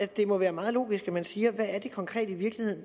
det må være meget logisk at man siger hvad det konkret